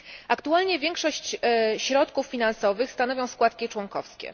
Aktualnie większość środków finansowych stanowią składki członkowskie.